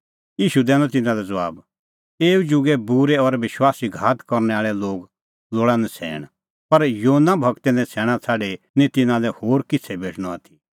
ईशू दैनअ तिन्नां लै ज़बाब एऊ जुगे बूरै और विश्वास घात करनै आल़ै लोग लोल़ा नछ़ैण पर योना गूरे नछ़ैणां छ़ाडी निं तिन्नां लै होर किछ़ै भेटणअ आथी